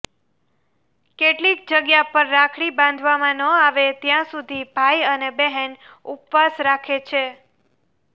કેટલીક જગ્યા પર રાખડી બાંધવામાં ન આવે ત્યાં સુધી ભાઈ અને બહેન ઉપવાસ રાખે છે